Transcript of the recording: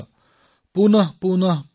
পুনঃ পুনঃ প্ৰৱৰ্ধেত